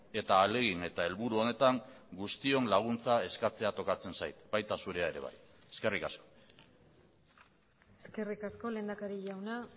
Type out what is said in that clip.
eta ahalegin eta helburu honetan guztion laguntza eskatzea tokatzen zait baita zurea ere bai eskerrik asko eskerrik asko lehendakari jauna